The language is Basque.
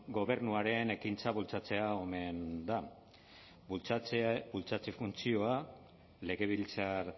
gobernuaren ekintza bultzatzea omen da bultzatze funtzioa legebiltzar